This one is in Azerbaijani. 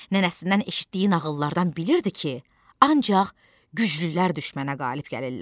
Nənəsindən eşitdiyi nağıllardan bilirdi ki, ancaq güclülər düşmənə qalib gəlirlər.